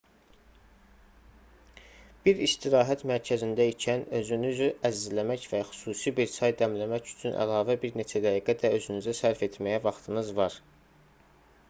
bir istirahət mərkəzində ikən özünüzü əzizləmək və xüsusi bir çay dəmləmək üçün əlavə bir neçə dəqiqə də özünüzə sərf etməyə vaxtınız var